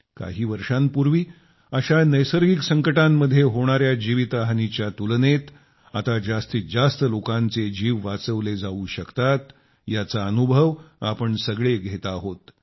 काही वर्षांपूर्वी अशा नैसर्गिक संकटांमध्ये होणाया जीवितहानीच्या तुलनेत आता जास्तीत जास्त लोकांचे जीव वाचवले जावू शकतात याचा अनुभव आपण सगळे घेत आहोत